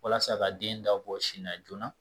Walasa ka den da bɔ sin na joona